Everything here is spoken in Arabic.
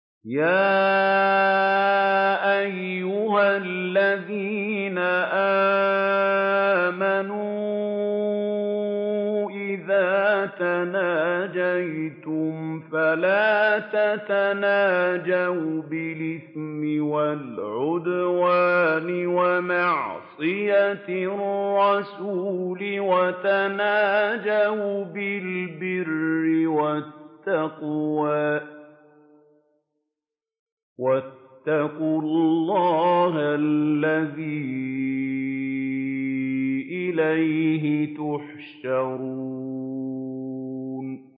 يَا أَيُّهَا الَّذِينَ آمَنُوا إِذَا تَنَاجَيْتُمْ فَلَا تَتَنَاجَوْا بِالْإِثْمِ وَالْعُدْوَانِ وَمَعْصِيَتِ الرَّسُولِ وَتَنَاجَوْا بِالْبِرِّ وَالتَّقْوَىٰ ۖ وَاتَّقُوا اللَّهَ الَّذِي إِلَيْهِ تُحْشَرُونَ